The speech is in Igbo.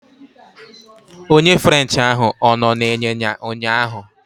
Onye french ahụ ọ nọ n'ịnyịnya ụnyaahụ?